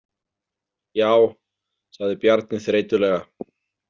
Já, sagði Bjarni þreytulega.